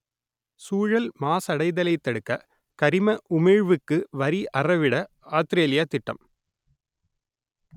சூழல் மாசடைதலைத் தடுக்க கரிம உமிழ்வுக்கு வரி அறவிட ஆத்திரேலியா திட்டம்